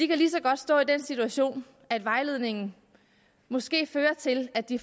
kan lige så godt stå i den situation at vejledningen måske fører til at de